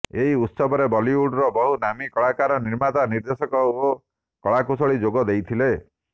ଏହି ଉତ୍ସବରେ ବଲିଉଡର ବହୁ ନାମୀ କଳାକାର ନିର୍ମାତା ନିର୍ଦ୍ଦେଶକ ଓ କଳାକୁଶଳୀ ଯୋଗ ଦେଇଥିଲେ